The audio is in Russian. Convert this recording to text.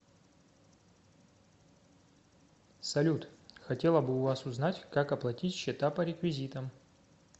салют хотела бы у вас узнать как оплатить счета по реквизитам